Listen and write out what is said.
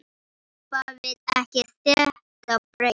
Doppa vill ekki þetta brauð.